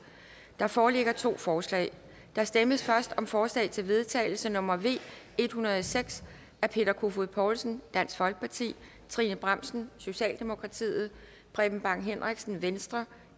der foreligger to forslag der stemmes først om forslag til vedtagelse nummer v en hundrede og seks af peter kofod poulsen trine bramsen preben bang henriksen